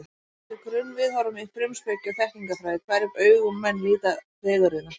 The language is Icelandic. Það fer eftir grunnviðhorfum í frumspeki og þekkingarfræði, hverjum augum menn líta fegurðina.